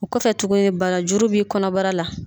O kɔfɛ tuguni barajuru bi kɔnɔbara la.